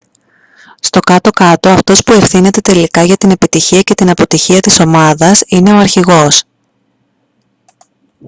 στο κάτω-κάτω αυτός που ευθύνεται τελικά για την επιτυχία και την αποτυχία της ομάδας είναι ο αρχηγός